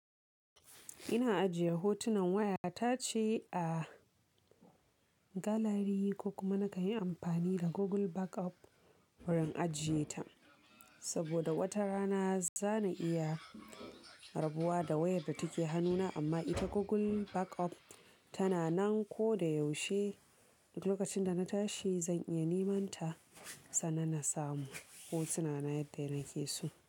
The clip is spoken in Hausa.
Ina ajiye hotunan waya ta ce a gallery ko kuma na ka yi amfani da Google Backup wurin ajiye ta. Saboda wata rana za na iya rabuwa da wayar da take hannuna amma ita Google Backup tana nan. Ko da yaushe lokacin da na tashi, zan iya neman ta, sannan na samu hotuna na yadda na ke so.